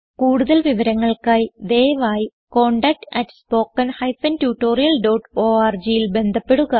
കുടുതൽ വിവരങ്ങൾക്കായി ദയവായി contactspoken tutorialorgൽ ബന്ധപ്പെടുക